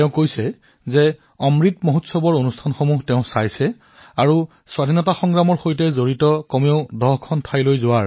তেওঁ লিখিছে যে তেওঁ অমৃত উৎসৱৰ কাৰ্যসূচী দেখিছিল আৰু সিদ্ধান্ত লৈছিল যে তেওঁ স্বাধীনতা সংগ্ৰামৰ সৈতে জড়িত কমেও ১০টা স্থানলৈ যাব